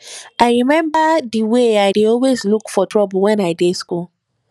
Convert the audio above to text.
i remember the way i dey always look for trouble wen i dey school